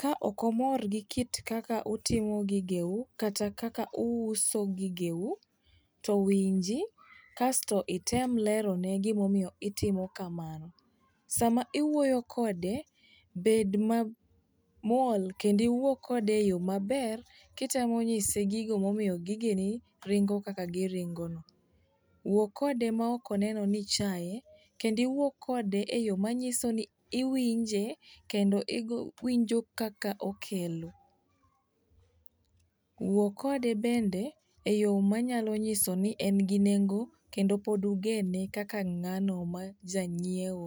Ka ok omor gi kaka utimo gigeu kata kaka uuso gigeu, to winji kasto item lerone gimomiyo itimo kamano. Sama iwuoyo kode, bed mamuol kendo iwuo kode e yo maber kitemo nyise gigo momiyo gigeni ringo kaka giringono. Wuo kode maok oneno ni ichaye kendo iwuo kode e yo manyiso ni iwinje kendo iwinjo kaka okelo. Wuo kode bende e yo manyalo nyiso ni en gi nengo kendo pod ugeno kaka ng'ano ma janyieo.